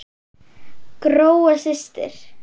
Gróa systir.